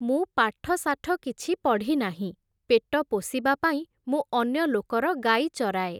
ମୁଁ ପାଠଶାଠ କିଛି ପଢ଼ିନାହିଁ, ପେଟ ପୋଷିବା ପାଇଁ ମୁଁ ଅନ୍ୟ ଲୋକର ଗାଈ ଚରାଏ ।